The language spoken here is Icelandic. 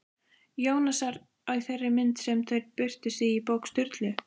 Jónasar í þeirri mynd sem þau birtust í bók Sturlu?